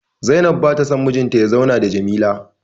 Zainab ba ta son mijinta ya zauna da Jamila